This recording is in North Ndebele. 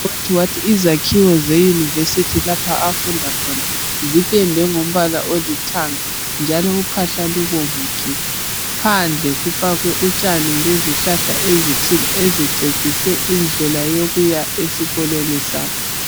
Udadewenu wathi izakhiwo ze University lapho afunda khona xipendwe ngombala olithanga uphahla lubomvu gebhe. Phandle kufakwe utshani lezihlahla ezithile ezicecise indlela eyokuya esikolweni sabo.